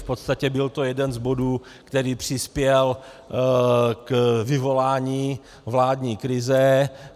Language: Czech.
V podstatě byl to jeden z bodů, který přispěl k vyvolání vládní krize.